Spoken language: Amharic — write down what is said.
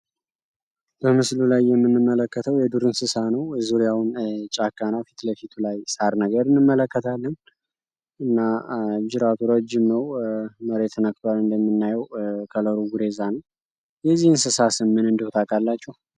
በምስሉ ላይ የምንመለከተው የዱርእንስሳ ነው። እዙሪያውን ጫካና ፊት ለፊቱ ላይ ሳር ነገር እንመለከታለን። እና ጅራድራ ጅመው መሬትነክባር እንደሚናዩ ከለሩ ጉሬዛን የዚህ እንስሳ ስምን እንድሁት አቃላቸው?